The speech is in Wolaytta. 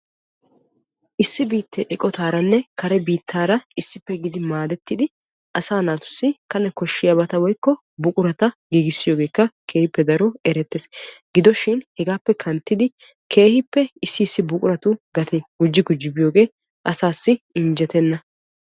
Issi biitee eqqottaarane kare biittaara issippe maadetti asaa naatussi kane koshiyabata woykko buqurata giigisiyogekka keehippe daro erettees. Gidoshin hegappe kanttidi keehippe issi issi buquratu gatee asaasi injjettena.